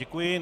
Děkuji.